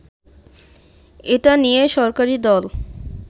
এটা নিয়ে সরকারি দল